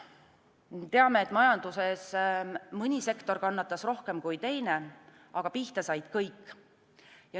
Teame, et majanduses mõni sektor kannatas rohkem kui teine, aga pihta said kõik.